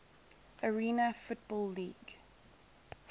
arena football league